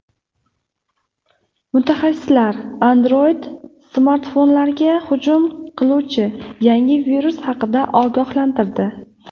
Mutaxassislar Android-smartfonlarga hujum qiluvchi yangi virus haqida ogohlantirdi.